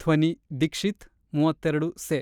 ಧ್ವನಿ-ದಿಕ್ಷಿತ್ ಮೂವತ್ತ್ ಎರಡು ಸೆ